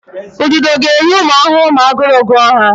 Ududo ga-eri ụmụ ahụhụ ma aguru gụọ ha.